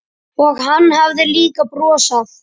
Og hann hafði líka brosað.